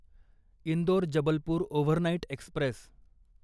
Indore Jabalpur overnight Express